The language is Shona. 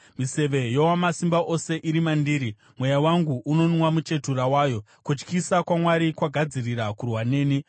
Miseve yoWamasimba Ose iri mandiri, mweya wangu unonwa muchetura wayo; kutyisa kwaMwari kwagadzirira kurwa neni.